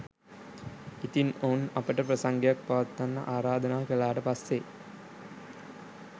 ඉතින් ඔවුන් අපට ප්‍රසංගයක් පවත්වන්න ආරාධනා කළාට පස්සෙ